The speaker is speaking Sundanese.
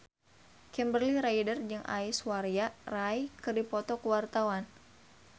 Kimberly Ryder jeung Aishwarya Rai keur dipoto ku wartawan